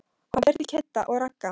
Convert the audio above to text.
Hann fer til Kidda og Ragga.